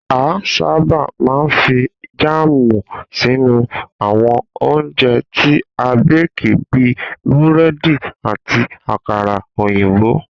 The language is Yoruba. A sábà máa ń fi jáàmù sínú àwo̩n oúnje̩ tí a béèkì bí i búré̩dì àti àkàrà òyìnbò